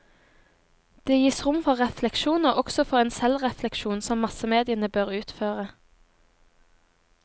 Det gis rom for refleksjon, også for en selvrefleksjon som massemediene bør utføre.